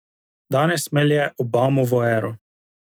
Danes melje Obamovo ero.